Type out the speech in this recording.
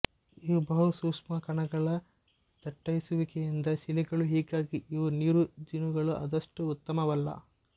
ಇವು ಬಹು ಸೂಕ್ಷ್ಮಕಣಗಳ ದಟ್ಟೈಸುವಿಕೆಯಿಂದ ಶಿಲೆಗಳು ಹೀಗಾಗಿ ಇವು ನೀರು ಜಿನುಗಲು ಅಷ್ಟು ಉತ್ತಮವಲ್ಲ